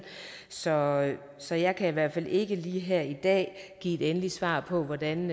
så så jeg kan i hvert fald ikke lige her i dag give et endeligt svar på hvordan